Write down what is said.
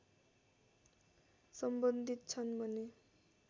सम्बन्धित छन् भने